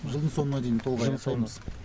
жылдың соңына дейін толық аяқтаймыз